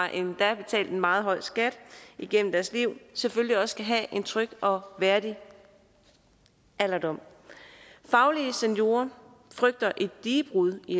endda har betalt en meget høj skat igennem deres liv selvfølgelig også skal have en tryg og værdig alderdom faglige seniorer frygter et digebrud i